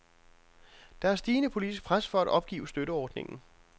Der er stigende politisk pres for at opgive støtteordningen.